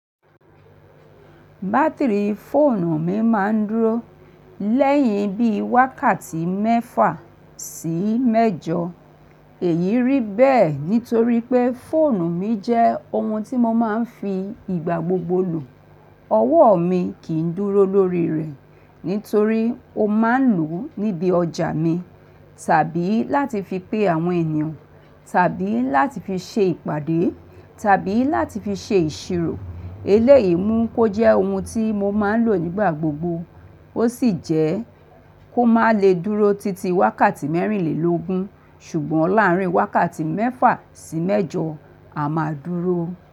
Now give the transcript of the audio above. Bátìrìi fóònù mi máa ń dúró léyìn bíi wákàtí méfà sí méjo. Èyí rí bẹ́ẹ̀ nítorí pé fóònù mi jẹ́ ohun tí mo máa ń fi ìgbà gbogbo lò. Ọwọ́ mi kì í dúró lórí rẹ̀ nítorí mo máa ń lò ó níbi ọjà mi tàbí láti fi pe àwọn ènìyàn, tàbí láti fi ṣe ìpàdé, tàbí láti fi ṣe ìṣirò. Eléyìí mú kó jẹ́ ohun tí mo máa ń lò nígbà gbogbo. Ó sì jẹ́ kó má le dúró títí wákàtí mẹ́rínlèlógún, ṣùgbọ́n láàárín wákàtí mẹ́fà sí mẹ́jọ a máa dúró.